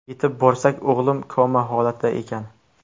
Yetib borsak, o‘g‘lim koma holatida ekan.